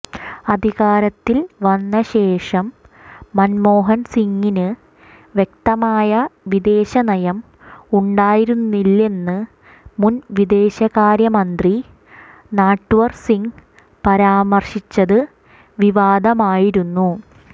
അധികാരത്തിൽ വന്നശേഷം മന്മോഹൻ സിങ്ങിന് വ്യക്തമായ വിദേശനയം ഉണ്ടായിരുന്നില്ലെന്ന് മുൻ വിദേശകാര്യമന്ത്രി നട്വർസിങ് പരാമർശിച്ചത് വിവാദമായിരുന്നു